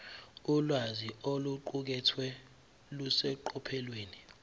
ulwazi oluqukethwe luseqophelweni